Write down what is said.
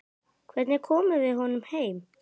Hvernig komum við honum heim?